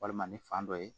Walima ni fan dɔ ye